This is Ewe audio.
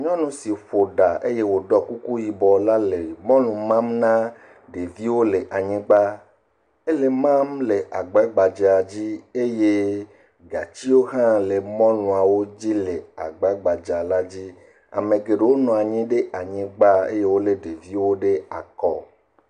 Nyɔnu si ƒoɖa eye wòɖɔ kuku yibɔ le mɔlu mam na ɖeviwo le anyigbã ele emam le agbagbadzɛa dzi eye gatiwo ha le mɔluawo dzi le agbagbadzɛa dzi ame geɖewo nɔ anyi ɖe anyigba eye wole ɖeviwo ɖe akɔ